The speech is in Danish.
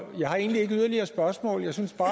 jeg har egentlig ikke yderligere spørgsmål jeg synes bare